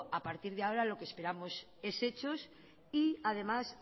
a partir de ahora lo que esperamos es hechos y además